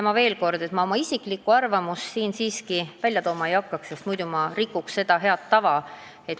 Veel kord: ma oma isiklikku arvamust siin siiski esitlema ei hakkaks, sest ma rikuksin sellega head tava.